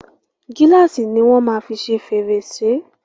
Gíláàsì ni wọ́n máa fi ṣe fèrèsè.